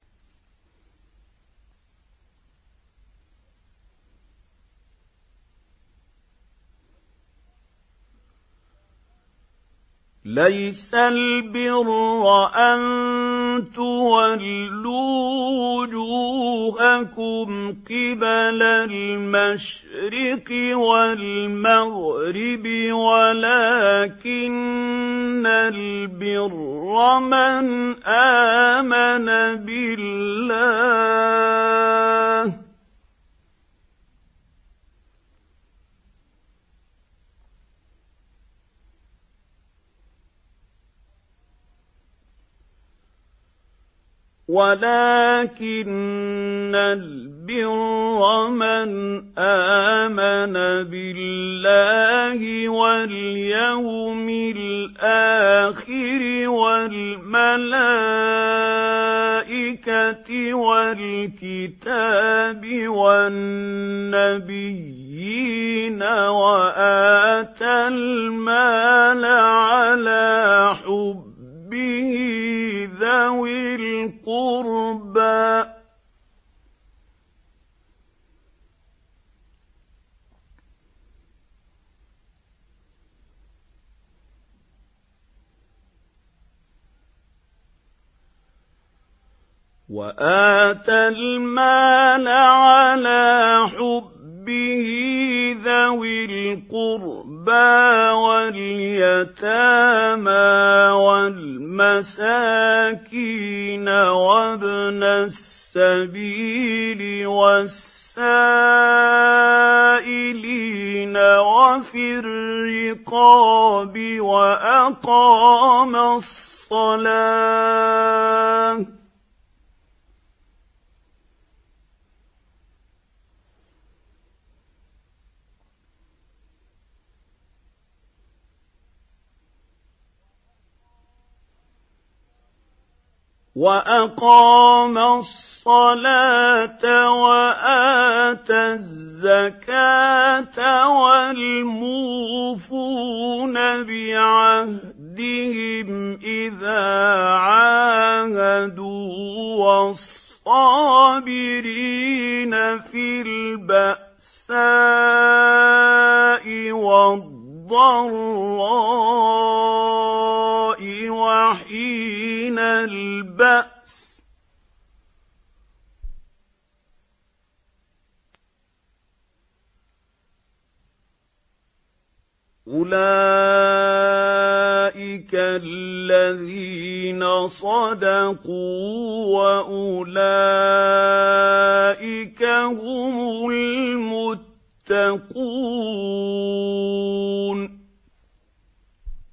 ۞ لَّيْسَ الْبِرَّ أَن تُوَلُّوا وُجُوهَكُمْ قِبَلَ الْمَشْرِقِ وَالْمَغْرِبِ وَلَٰكِنَّ الْبِرَّ مَنْ آمَنَ بِاللَّهِ وَالْيَوْمِ الْآخِرِ وَالْمَلَائِكَةِ وَالْكِتَابِ وَالنَّبِيِّينَ وَآتَى الْمَالَ عَلَىٰ حُبِّهِ ذَوِي الْقُرْبَىٰ وَالْيَتَامَىٰ وَالْمَسَاكِينَ وَابْنَ السَّبِيلِ وَالسَّائِلِينَ وَفِي الرِّقَابِ وَأَقَامَ الصَّلَاةَ وَآتَى الزَّكَاةَ وَالْمُوفُونَ بِعَهْدِهِمْ إِذَا عَاهَدُوا ۖ وَالصَّابِرِينَ فِي الْبَأْسَاءِ وَالضَّرَّاءِ وَحِينَ الْبَأْسِ ۗ أُولَٰئِكَ الَّذِينَ صَدَقُوا ۖ وَأُولَٰئِكَ هُمُ الْمُتَّقُونَ